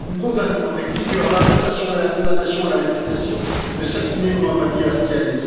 Nous condamnons avec vigueur l'arrestation et la condamnation à la lapidation de Sakineh Mohammadi Ashtiani.